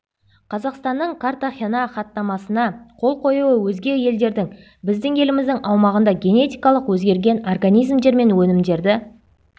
қазақстанның картахена хаттамасына қол қоюы өзге елдердің біздің еліміздің аумағында генетикалық өзгерген организмдер мен өнімдерді